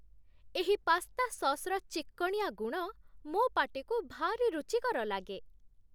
ଏହି ପାସ୍ତା ସସ୍‌ର ଚିକ୍କଣିଆ ଗୁଣ ମୋ ପାଟିକୁ ଭାରି ରୁଚିକର ଲାଗେ